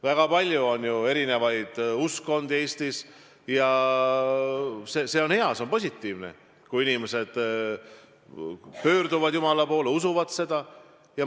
Väga palju erinevaid uskkondi on Eestis ja see on hea, see on positiivne, kui inimesed pöörduvad jumala poole, usuvad seda.